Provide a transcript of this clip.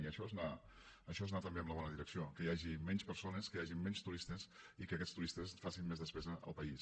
i això és anar també en la bona direcció que hi hagin menys persones que hi hagin menys turistes i que aquests turistes facin més despesa al país